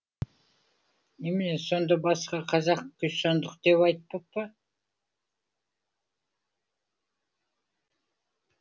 немене сонда басқа қазақ күйсандық деп айтпап па